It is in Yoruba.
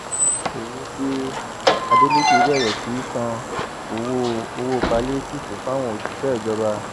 owó dé adeleke bẹrẹ sísan owó owó páílétììfù fáwọn òṣìṣẹ ìjọba